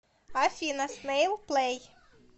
афина снэйл плэй